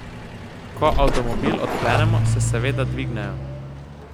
Ko avtomobil odklenemo, se seveda dvignejo.